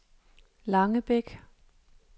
Langebæk